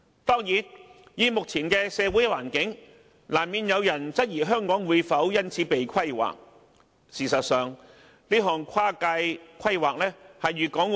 當然，在目前的社會氣氛和環境中，難免會有人質疑香港會因此而"被規劃"。